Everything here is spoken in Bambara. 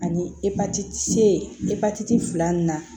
Ani epatiti epatiti fila nunnu na